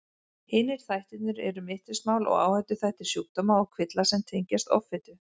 Hinir þættirnir eru mittismál og áhættuþættir sjúkdóma og kvilla sem tengjast offitu.